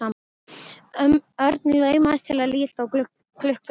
Örn laumaðist til að líta á klukkuna.